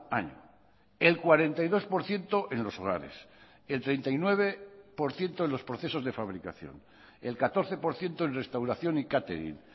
año el cuarenta y dos por ciento en los hogares el treinta y nueve por ciento en los procesos de fabricación el catorce por ciento en restauración y catering